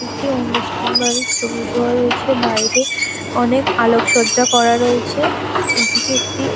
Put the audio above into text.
একটি অনুষ্ঠান বাড়ির ছবি দোয়া রয়েছে বাইরে অনেক আলোকসজ্জা করা রয়েছে এদিকে একটি--